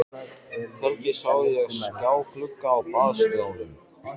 Hvergi sá ég skjáglugga á baðstofum.